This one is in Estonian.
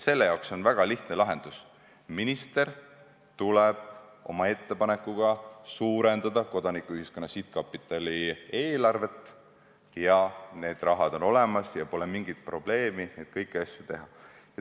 Selle jaoks on väga lihtne lahendus: minister teeb ettepaneku suurendada Kodanikuühiskonna Sihtkapitali eelarvet ja see raha on olemas ja pole mingit probleemi, et kõiki asju ei saaks teha.